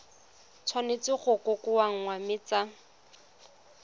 tshwanetse go kokoanngwa mme tsa